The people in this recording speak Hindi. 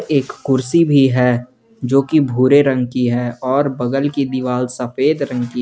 एक कुर्सी भी है जो की भूरे रंग की है और बगल की दीवार सफेद रंग की।